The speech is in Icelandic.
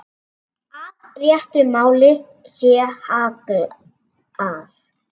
Að réttu máli sé hallað.